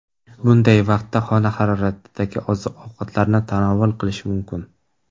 Bunday vaqtda xona haroratidagi oziq-ovqatlarni tanovul qilish mumkin.